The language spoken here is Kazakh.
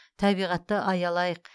табиғатты аялайық